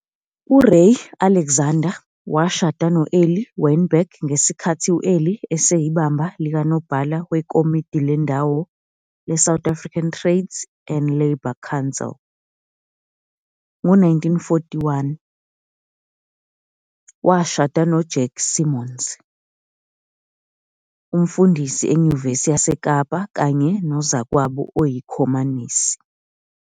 URay Alexander washada no-Eli Weinberg ngesikhathi u-Eli eseyibamba likaNobhala wekomidi lendawo leSouth African Trades and Labour Council. Ngo-1941, washada no- Jack Simons, umfundisi eNyuvesi yaseKapa kanye nozakwabo oyiKhomanisi.